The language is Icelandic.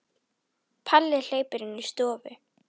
Palli hleypur inn í stofu.